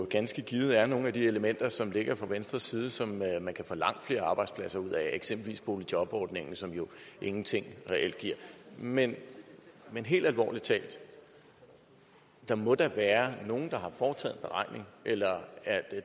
ganske givet er nogle af de elementer som der ligger fra venstres side som man kan få langt flere arbejdspladser ud af eksempelvis boligjobordningen som jo ingenting reelt giver men helt alvorligt talt der må da være nogen der har foretaget en beregning eller er